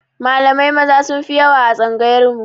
Malamai Maza sunfi yawa a tsangayar mu